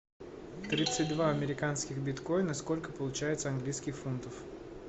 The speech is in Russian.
тридцать два американских биткоина сколько получается английских фунтов